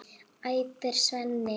æpir Svenni.